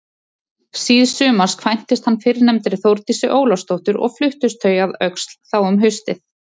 Síðsumars kvæntist hann fyrrnefndri Þórdísi Ólafsdóttur og fluttust þau að Öxl þá um haustið.